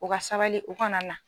U ka sabali u kana na.